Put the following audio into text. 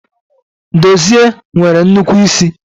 Dozie nwere nnukwu isi